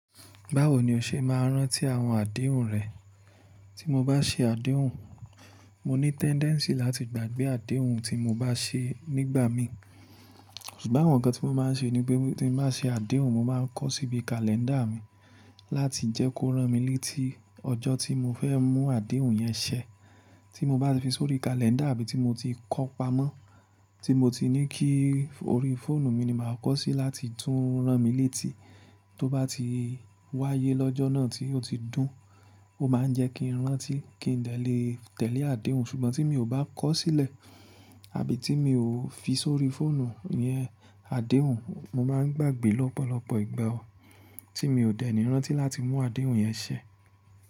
Báwo ni o ṣe máa ń rántí àwọn àdéhùn rẹ? Tí mo bá ṣe àdéhùn, mo ní tendency láti gbàgbé àdéhùn tí mo bá ṣe nígbà mi. Ṣùgbọ́n awon nkan tí mo máa ń ṣe ni pé tí mo bá ṣe àdéhùn, mo máa ń kọ́ síbi kalẹ́ńdà mi láti jẹ́ kó rán mi létí ọjọ́ tí mo fẹ́ mú àdéhùn yẹn ṣẹ. Tí mo bá fi sórí kalẹ́ńdà àbí tí mo ti kọ́ pamọ́, tí mo ti ní kí orí fóònù mi ni màá kọ́ sí láti tún rán mi létí, tó bá ti wáyé lọ́jọ́ náà tí ó ti dùn, ó máa ń jẹ́ kí n rántí kí n lè tẹ̀lé àdéhùn. Ṣùgbọ́n tí mi ò bá kọ́ sílẹ̀ àbí tí mi ò fi sórí fóònù yẹn àdéhùn, mo máa ń gbàgbé lọ́pọ̀lọpọ̀ ìgbà ọ, tí mi ò dẹ́ni rántí láti mú àdéhùn yẹn ṣẹ.